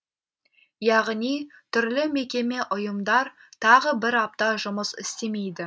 яғни түрлі мекеме ұйымдар тағы бір апта жұмыс істемейді